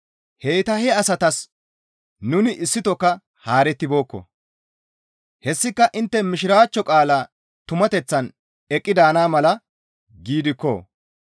Heyta he asatas nuni issitokka haarettibeekko; hessika intte Mishiraachcho qaalaa tumateththan eqqi daana mala giidikko.